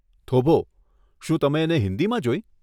થોભો, શું તમે એને હિંદીમાં જોઈ?